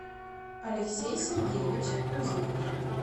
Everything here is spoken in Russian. алексей сергеевич пузиков